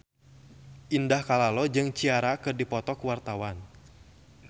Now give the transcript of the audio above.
Indah Kalalo jeung Ciara keur dipoto ku wartawan